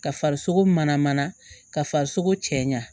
Ka farisoko mana mana ka farisoko cɛɲa